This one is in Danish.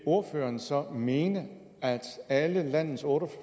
ordføreren så mene at alle landets otte